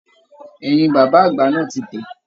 Ẹ̀yìn bàbá àgbà náà tí tẹ.